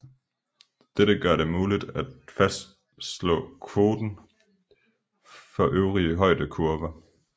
Dette gør det muligt at fastslå koten for de øvrige højdekurver